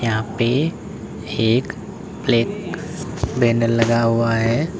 यहां पे एक प्लेट बैनर लगा हुआ है।